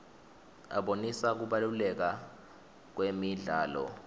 abonisa kubaluleka kwemidlalo